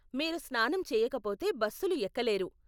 మీరు స్నానం చేయకపోతే బస్సులు ఎక్కలేరు.